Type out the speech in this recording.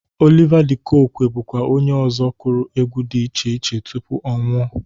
Oliva dị Kokwe bụkwa onye ọzọ kụrụ egwu dị iche iche tupu ọ nwụọ.